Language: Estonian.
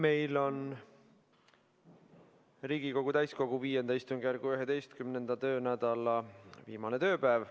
Meil on Riigikogu täiskogu V istungjärgu 11. töönädala viimane tööpäev.